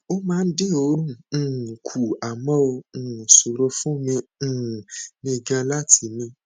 ó máa ń dín òórùn um kù àmọ ó um ṣòro fún um mi gan-an láti mí